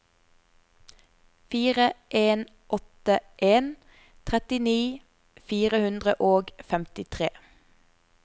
fire en åtte en trettini fire hundre og femtitre